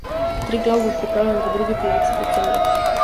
Triglav bo pripravljen v drugi polovici decembra.